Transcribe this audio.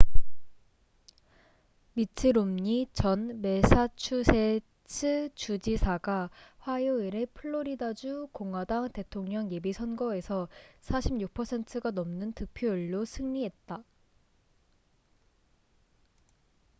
미트 롬니 전 매사추세츠 주지사가 화요일에 플로리다주 공화당 대통령 예비선거에서 46%가 넘는 득표율로 승리했다